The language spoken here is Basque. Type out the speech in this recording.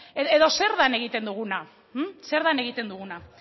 edo zer dan egiten duguna zer dan egiten duguna